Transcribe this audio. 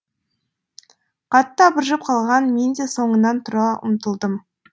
қатты абыржып қалған мен де соңынан тұра ұмтылдым